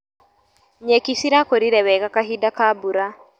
Nyeki cirakũrire wega kahinda ka mbura.